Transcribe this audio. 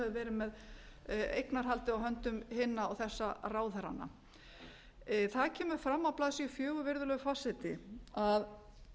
verið með eignarhaldið á höndum hinna og þessa ráðherranna það kemur fram á blaðsíðu fjögur virðulegur forseti að